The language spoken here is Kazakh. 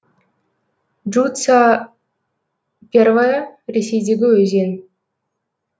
джуца первая ресейдегі өзен